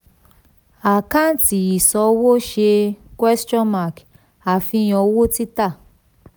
àkàǹtì ìṣòwò ṣe àfihàn owó títà.